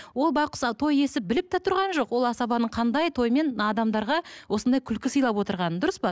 ол байқұс той иесі біліп те тұрған жоқ ол асабаның қандай тоймен адамдарға осындай күлкі сыйлап отырғанын дұрыс па